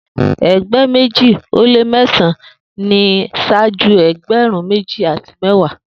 Egba meji o le mẹsan-an ni ṣaaju ẹgbẹrun meji ati mẹwa